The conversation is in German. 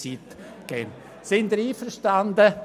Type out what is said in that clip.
Sind Sie einverstanden?